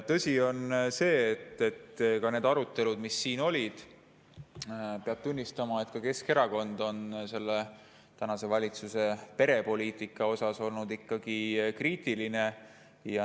Tõsi on see, kui mõelda neile aruteludele, mis siin täna olid, et Keskerakond on olnud praeguse valitsuse perepoliitika suhtes kriitiline.